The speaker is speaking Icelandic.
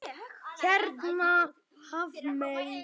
Hérna Hafmey.